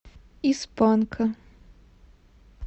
из панка